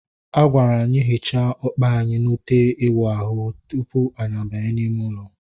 A gwara anyị hichaa ọkpa anyị na ute iwu ahụ ahu tupu anyị abanye n'ime ụlọ